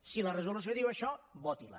si la resolució diu això votila